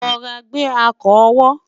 rọra gbe akọ owó